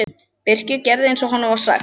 Birkir gerði eins og honum var sagt.